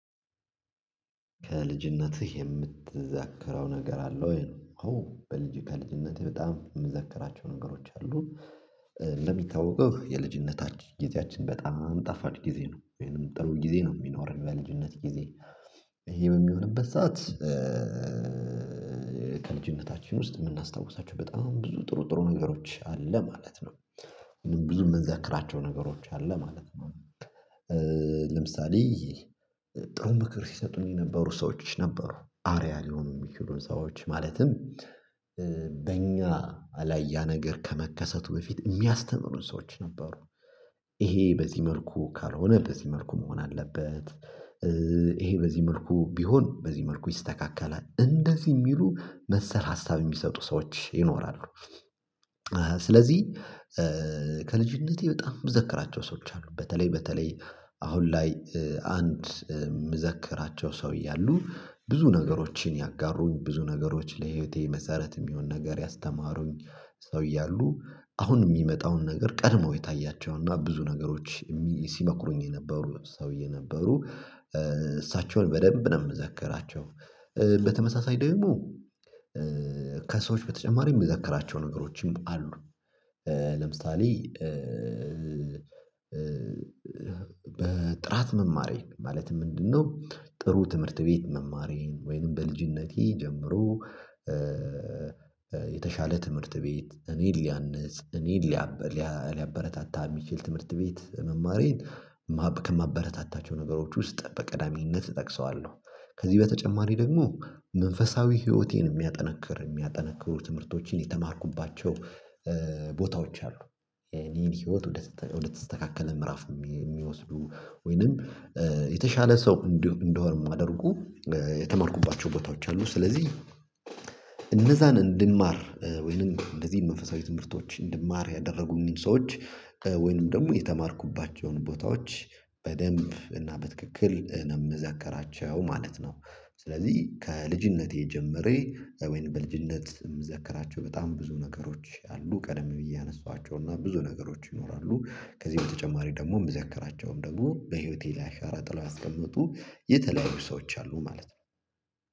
ከልጅነትህ የምትዘክረው ነገር አለ ወይ? ነው። አዎ በልጅ ከልጅነቴ በጣም የምዘክራቸው ነገሮች አሉ። እንደሚታወቀው የልጅነታችን ጊዜያችን በጣም ጣፋጭ ጊዜ ነው። ወይንም ጥሩ ጊዜ ነው የሚኖረን በልጅነት ጊዜ። ይሄ በሚሆንበት ሰዓት ከልጅነታችን ውስጥ የምናስታውሳቸው በጣም ብዙ ጥሩ ጥሩ ነገሮች አለ ማለት ነው። ብዙ የምንዘክራቸው ነገሮች አለ ማለት ነው። ለምሳሌ ጥሩ ምክር ሲሰጡኝ የነበሩ ሰዎች ነበሩ። አርአያ ሊሆኑ የሚችሉን ሰዎች። ማለትም በእኛ ላይ ያ ነገር ከመከሰቱ በፊት የሚያስተምሩን ሰዎች ነበሩ። ይሄ በዚህ መልኩ ካልሆነ በዚህ መልኩ መሆን አለበት፤ ይሄ በዚህ መልኩ ቢሆን በዚህ መልኩ ይስተካከላል። እንደዚህ የሚሉ መሰል ሀሳብ የሚሰጡ ሰዎች ይኖራሉ። ስለዚህ ከልጅነቴ በጣም የምዘክራቸው ሰዎች አሉ። በተለይ በተለይ አሁን ላይ አንድ የምዘክራቸው ሰውዬ አሉ። ብዙ ነገሮችን ያጋሩኝ፤ ብዙ ነገሮች ለህይወቴ መሰረት የሚሆን ነገር ያስተማሩኝ ሰውዬ አሉ። አሁን የሚመጣውን ነገር ቀድመው የታያቸው እና ብዙ ነገሮች ሲመክሩኝ የነበሩ ሰውዬ ነበሩ። እሳቸውን በደንብ ነው የምዘከራቸው። በተመሳሳይ ደግሞ ከሰዎች በተጨማሪ የምዘከራቸው ነገሮችም አሉ። ለምሳሌ በጥራት መማሬ ማለትም ምንድነው ጥሩ ትምህርት ቤት መማሬን ወይንም በልጅነቴ ጀምሮ የተሻለ ትምህርት ቤት እኔን ሊያነጽ፣ እኔን ሊያበረታታ የሚችል ትምህርት ቤት መማሬን ከማበረታታቸው ነገሮች ውስጥ በቀዳሚነት እጠቅሰዋለሁ። ከዚህ በተጨማሪ ደግሞ መንፈሳዊ ህይወቴን የሚያጠነክር የሚያጠነክሩ ትምህርቶችን የተማርኩባቸው ቦታዎች አሉ። የኔን ህይወት ወደ ተስተካከለ ምዕራፍ የሚወስዱ ወይንም የተሻለ ሰው እንድሆን የሚያደርጉ የተማርኩባቸው ቦታዎች አሉ። ስለዚህ እነዛን እንድማር ወይንም እንደዚህ መንፈሳዊ ትምህርቶች እንድማር ያደረጉኝን ሰዎች ወይንም ደግሞ የተማርኩባቸውን ቦታዎች በደንብ እና በትክክል ነው የምዘከራቸው ማለት ነው። ስለዚህ ከልጅነቴ ጀምሬ ወይንም በልጅነት የምዘከራቸው በጣም ብዙ ነገሮች አሉ ቀደም ብዬ ያነሳኋቸው እና ብዙ ነገሮች ይኖራሉ። ከዚህ በተጨማሪ ደግሞ የምዘከራቸውም ደግሞ በህይወቴ ላይ አሻራ ጥለው ያስቀመጡ የተለያዩ ሰዎች አሉ ማለት ነው።